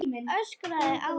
Öskrar á hann.